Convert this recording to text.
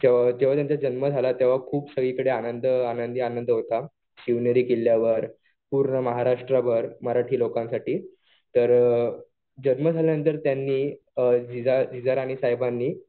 जेव्हा त्यांचा जन्म झाला तेव्हा खूप सगळीकडे आनंदीआनंद होता. शिवनेरी किल्ल्यावर, पूर्ण महाराष्ट्रभर मराठी लोकांसाठी. तर जन्म झाल्यानंतर त्यांनी जिजा राणीसाहेबांनी